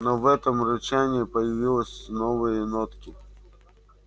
но в этом рычании появилось новые нотки